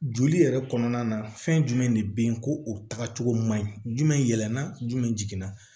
Joli yɛrɛ kɔnɔna na fɛn jumɛn de bɛyi ko o tagacogo man ɲi jumɛn yɛlɛma jumɛn jigin na